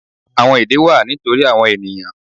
Àwọn èdè wà nítorí àwon ènìyàn